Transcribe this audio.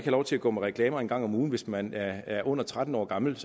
lov til at gå med reklamer en gang om ugen hvis man er under tretten år gammel